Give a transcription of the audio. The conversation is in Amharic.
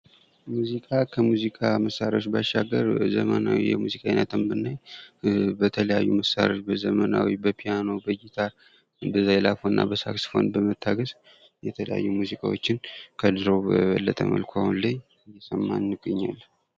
ከሙዚቃ መሳሪያዎች ባሻገር ዘመናዊ ሙዚቃዎችን በተለያዩ ዘመናዊ መሳሪያዎች ይጫወታሉ።